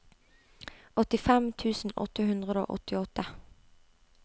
åttifem tusen åtte hundre og åttiåtte